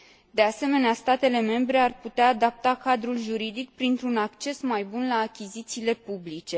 De asemenea, statele membre ar putea adapta cadrul juridic, printr un acces mai bun la achizițiile publice.